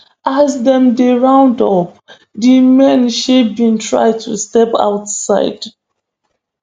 as dem dey round up di men she bin try to step outside